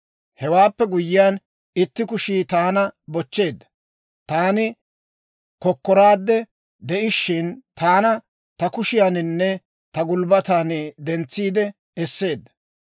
Hewaappe guyyiyaan, itti kushii taana bochcheedda; taani kokkoraadde de'ishiina, taana ta kushiyaaninne ta gulbbatan dentsiide esseedda.